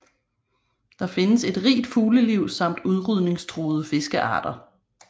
Der findes et rigt fugleliv samt udrydningstruede fiskearter